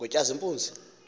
ngotshazimpuzi